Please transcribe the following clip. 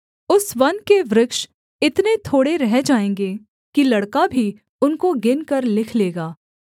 उस वन के वृक्ष इतने थोड़े रह जाएँगे कि लड़का भी उनको गिनकर लिख लेगा